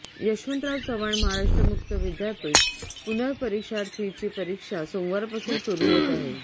यशवंतराव चव्हाण महाराष्ट्र मुक्त विद्यापीठ पुनर्परीक्षार्थींची परीक्षा सोमवारपासून सुरू होत आहे